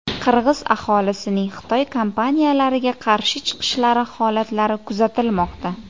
Qirg‘iz aholisining Xitoy kompaniyalariga qarshi chiqishlari holatlari kuzatilmoqda.